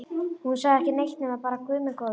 Hún sagði ekki neitt nema bara Guð minn góður.